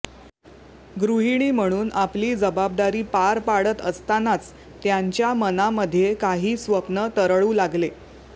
गृहिणी म्हणून आपली जबाबदारी पार पाडत असतानाच त्यांच्या मनामध्ये काही स्वप्नं तरळू लागले